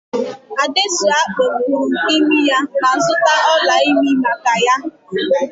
Adesua kpọpụru imi ya ma zụta ọla ịmị maka ya